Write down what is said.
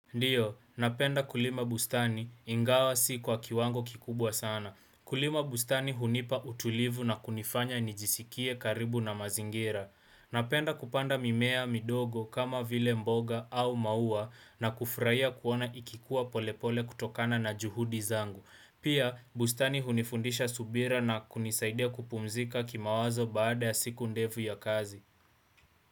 Ndiyo, napenda kulima bustani ingawa si kwa kiwango kikubwa sana. Kulima bustani hunipa utulivu na kunifanya nijisikie karibu na mazingira. Napenda kupanda mimea midogo kama vile mboga au maua na kufurahia kuona ikikuwa polepole kutokana na juhudi zangu. Pia bustani hunifundisha subira na kunisaidia kupumzika kimawazo baada ya siku ndefu ya kazi.